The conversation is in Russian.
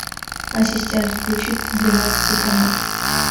ассистент включи двенадцатый канал